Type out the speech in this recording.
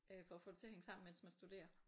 Øh for at få det til at hænge sammen mens man studerer